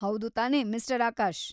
ಹೌದು ತಾನೇ, ಮಿಸ್ಟರ್ ಆಕಾಶ್‌?